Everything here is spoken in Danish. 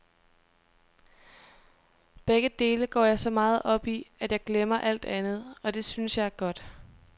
Begge dele går jeg så meget op i, at jeg glemmer alt andet, og det synes jeg er godt.